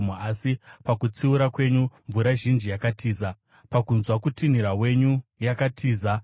Asi pakutsiura kwenyu mvura zhinji yakatiza, pakunzwa kutinhira wenyu yakatiza;